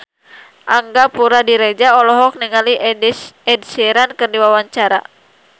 Angga Puradiredja olohok ningali Ed Sheeran keur diwawancara